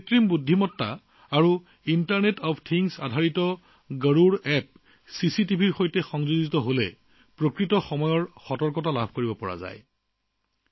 কৃত্ৰিম বুদ্ধিমত্তা আৰু ইণ্টাৰনেট অৱ থিংছৰ ওপৰত ভিত্তি কৰি নিৰ্মিত গৰুড় এপটোৱে যিকোনো চিচিটিভিৰ সৈতে সংযোগ কৰিলে ছেটাৰৰ পৰা সঠিক সময়ৰ সতৰ্কবাণী প্ৰদান কৰে